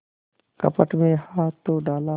कपट में हाथ तो डाला